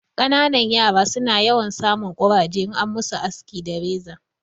Ƙananan yara su na yawan sa mun ƙuraje in an ma su aski da reza